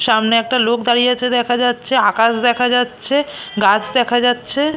সামনে একটা লোক দাঁড়িয়ে আছে দেখা যাচ্ছে আকাশ দেখা যাচ্ছে গাছ দেখা যাচ্ছে।